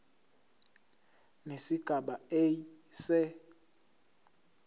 nesigaba a se